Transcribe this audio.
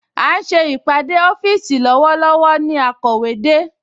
À ń ṣe ìpàdé ọ́fíìsì lọ́wọ́lọ́wọ́ ni akọ̀wé de